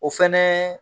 O fɛnɛ